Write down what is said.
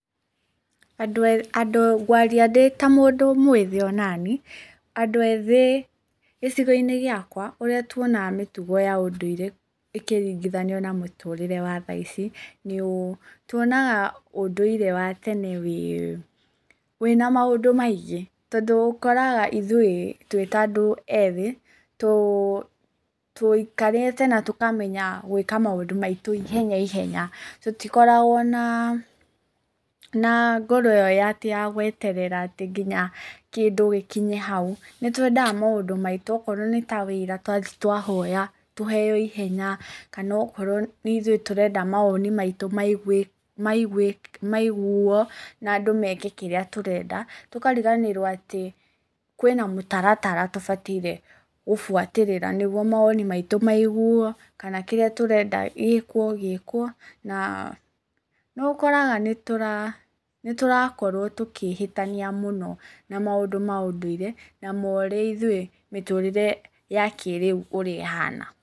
Ngũaria ndĩ ta mũndu mwĩthĩ ona niĩ, andũ ethĩ gĩcigo-inĩ gĩakwa ũrĩa tuonaga mĩtugo ya ũndũire ikĩringithanio na mũtũrĩre wa thaici, nĩ tuoiaga ũndũire wa tene wĩ na maũndũ maingĩ, tondu ũkoraga ithuĩ twĩ ta andũ ethi, tũikarĩte na tũkamenya gũĩka maũndu maitũ ihenya ihenya, tũtikoragwo na ngoro ĩyo atĩ ya gũeterera atĩ nginya kĩndũ gĩkinye hau. Nĩ tũendaga maũndũ maitũ okorwo nĩ ta wĩra twathi twahoya, tũheo ihenya, kana okorwo nĩ ithuĩ tũrenda mawoni maitũ maiguuo na andũ meke kĩrĩa tũrenda, tũkariganĩrwo atĩ kwĩna mũtaratara tũbataire gũbũatĩrĩra nĩ guo mawoni maitĩ maiguuo kana kĩrĩa tũrenda gĩĩkwo gĩkwo, na nĩ ũkoraga nĩ tũrakorwo tũkĩhĩtania mũno na maũndũ ma ũndũĩre na marĩa ithuĩ mĩtũrĩre ya kĩĩrĩu ũrĩa ĩhana.